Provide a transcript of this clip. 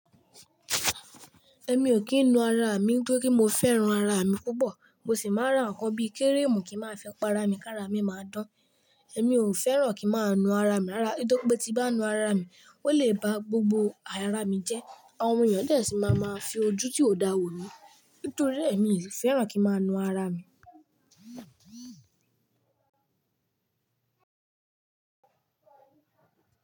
Ẹ̀mí ò kí ń na ara mi, n'toripe mo fẹ́ràn ara mi púpọ̀. Mo sì máa ń ra àwọn nǹkan bí i kẹ́rẹ́ẹ̀mù kí máa fẹ́ pa ara mi, kí ara mi máa dán. Ẹ̀mí ò fẹ́ràn kí n máa na ara mi rárá, nítorí pé tí bá na ara mi, ó lè ba gbogbo ara mi jẹ́. Àwọn èèyàn dẹ̀ sí máa máa fi ojú tió dáa wò ni. Nítorí ẹ̀mí kò fẹ́ràn kí n máa na ara mi.